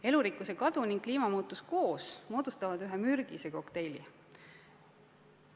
Elurikkuse kadu ning kliimamuutus koos moodustavad ühe mürgise kokteili.